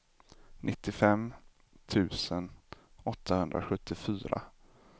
nittiofem tusen åttahundrasjuttiofyra